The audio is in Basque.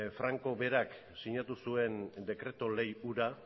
francok berak sinatu zuen dekreto lege hura